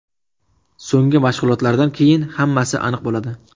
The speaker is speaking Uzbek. So‘nggi mashg‘ulotdan keyin hammasini aniq bo‘ladi.